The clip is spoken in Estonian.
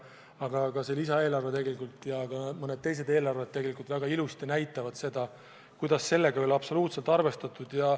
Paraku näitavad see lisaeelarve ja ka mõned teised eelarved väga ilusti, et sellega ei ole absoluutselt arvestatud.